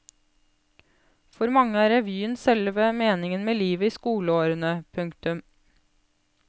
For mange er revyen selve meningen med livet i skoleårene. punktum